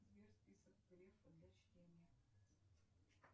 сбер список грефа для чтения